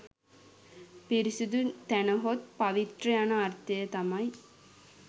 පිරිසුදු තැනහොත් පවිත්‍ර යන අර්ථය තමයි